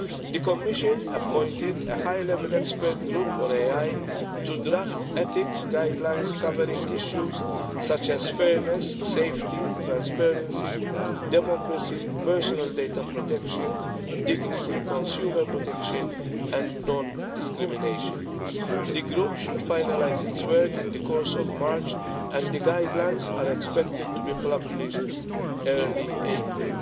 The Commission appointed a high level expert group on AI to draft ethics guidelines covering issues such as fairness, safety, transparency, democracy, personal data protection, dignity, consumer protection and non discrimination. The group should finalise its work in the course of March, and the guidelines are expected to be published in early April.